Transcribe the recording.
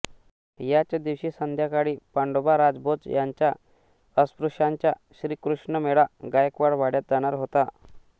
याच दिवशी संध्याकाळी पांडोबा राजभोज यांचा अस्पृश्यांचा श्रीकृष्ण मेळा गायकवाड वाड्यात जाणार होता